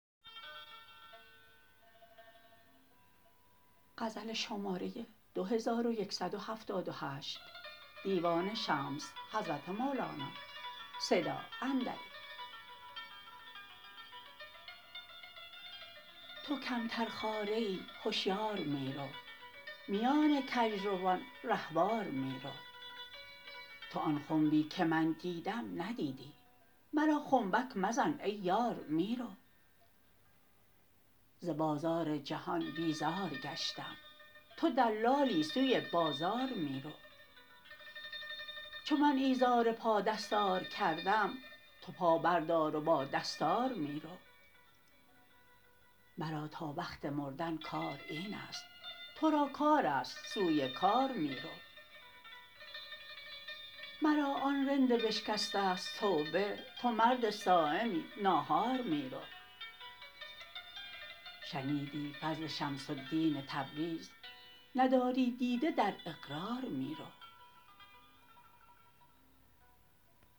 تو کمترخواره ای هشیار می رو میان کژروان رهوار می رو تو آن خنبی که من دیدم ندیدی مرا خنبک مزن ای یار می رو ز بازار جهان بیزار گشتم تو دلالی سوی بازار می رو چو من ایزار پا دستار کردم تو پا بردار و با دستار می رو مرا تا وقت مردن کار این است تو را کار است سوی کار می رو مرا آن رند بشکسته ست توبه تو مرد صایمی ناهار می رو شنیدی فضل شمس الدین تبریز نداری دیده در اقرار می رو